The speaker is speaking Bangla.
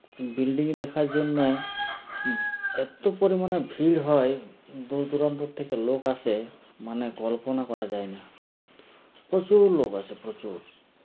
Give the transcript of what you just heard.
Building দেখার জন্য য এত্ত পরিমানে ভিড় হয় দূর দুরান্ত থেকে লোক আসে মানে কল্পনা করা যায় না প্রচুর লোক আসে প্রচুর